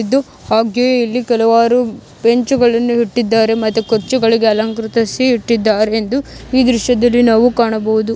ಇದು ಹಾಗೆ ಇಲ್ಲಿ ಕೆಲವರು ಬೆಂಚುಗಳನ್ನು ಇಟ್ಟಿದ್ದಾರೆ ಮತ್ತು ಕೊಚ್ಚುಗಳಿಗೆ ಅಲಂಕರಿಸಿ ಇಟ್ಟಿದ್ದಾರೆ ಎಂದು ಈ ದೃಶ್ಯದಲ್ಲಿ ನಾವು ಕಾಣಬಹುದು .